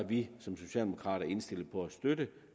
vi socialdemokrater indstillet på at støtte